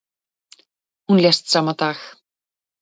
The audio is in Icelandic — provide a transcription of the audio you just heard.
Hún lést sama dag.